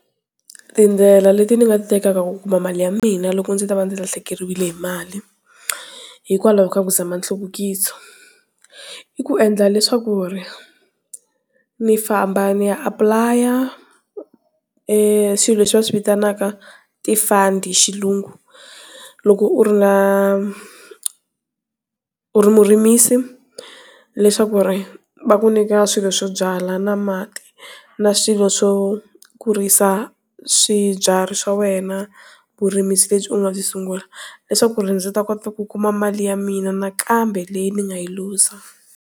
Tindlela leti ni nga ti tekaka ku kuma mali ya mina loko ndzi ta va ndzi lahlekeriwile hi mali hikwalaho ka ku zama nhluvukiso i ku endla leswa ku ri ni famba ni ya apply-a swilo leswi va swivitanaka ti fund hi xilungu loko u ri na u ri murimisi leswaku ri va ku nyika swilo swo byala na mati na swilo swo kurisa swibyariwa swa wena vurimisi lebyi u nga byi sungula leswaku ndzi ta kota ku kuma mali ya mina nakambe leyi ni nga yi luza.